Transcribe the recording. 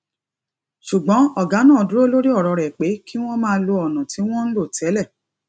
ṣùgbọn ọgá náà dúró lórí ọrọ rẹ pé kí wọn máa lo ọnà tí wọn ń lò tẹlẹ